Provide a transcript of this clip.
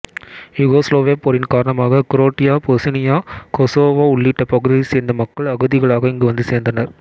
யுகோசிலேவிய போரின் காரணமாக Croatia Bosnia Kosovo உள்ளிட்ட பகுதிகளைச் சேர்ந்த மக்கள் அகதிகளாக இங்கு வந்து சேர்ந்தனர்